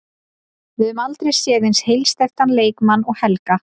Við höfum aldrei séð eins heilsteyptan leikmann og Helga.